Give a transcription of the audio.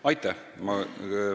Aitäh!